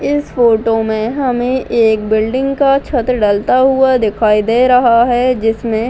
इस फोटो में हमें एक बिल्डिंग का छत डलता हुआ दिखाई दे रहा है जिसमे --